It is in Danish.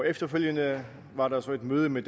efterfølgende var der så et møde med